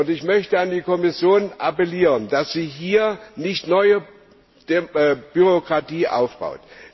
Ich möchte an die Kommission appellieren, dass sie hier nicht neue Bürokratie aufbaut.